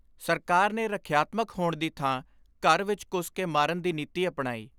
ਸਰਕਾਰ ਨੇ ਰੱਖਿਆਤਮਕ ਹੋਣ ਦੀ ਥਾਂ ਘਰ ਵਿਚ ਘੁੱਸ ਕੇ ਮਾਰਨ ਦੀ ਨੀਤੀ ਅਪਣਾਈ।